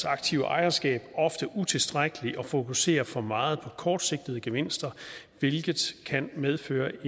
aktive ejerskab ofte utilstrækkelig og fokuserer for meget på kortsigtede gevinster hvilket kan medføre